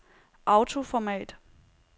autoformat